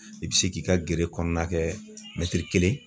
I bi se k'i ka gere kɔnɔna kɛ kelen